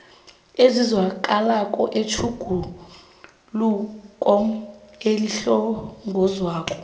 ezizwakalako zetjhuguluko elihlongozwako